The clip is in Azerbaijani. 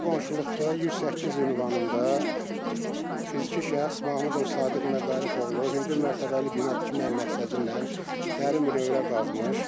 Bizim qonşuluqda 108 ünvanında fiziki şəxs Mahmudov Sadiq Məqarif oğlu hündür mərtəbəli bina tikmək məqsədi ilə dərin bünövrə qazmış.